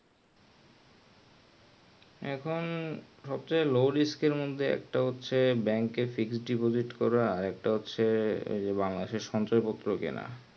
এখন সব চেয়ে low risk এর মধ্যে ওটা হচ্ছে এর bank এর করা একটা হচ্ছে বাংলা দেশের সঞ্চয় পত্র কেনা